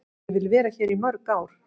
Ég vil vera hér í mörg ár.